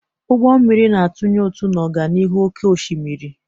Ụgbọ mmiri na-atụnye ụtụ na ọganihu n'oké osimiri.